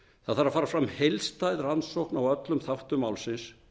það þarf að fara fram heildstæð rannsókn á öllum þáttum málsins